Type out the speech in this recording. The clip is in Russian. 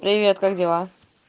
привет как дела